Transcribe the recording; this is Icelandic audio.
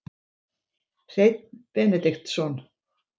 Hreinn Benediktsson